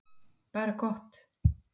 Bara gott mál.